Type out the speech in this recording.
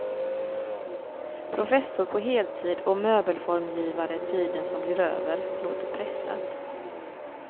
Professor på heltid och möbelformgivare tiden som blir över, låter pressat.